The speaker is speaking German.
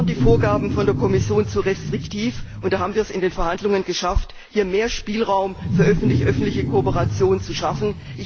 Da waren die Vorgaben von der Kommission zu restriktiv, und da haben wir es in den Verhandlungen geschafft, mehr Spielraum für öffentlich öffentliche Kooperation zu schaffen.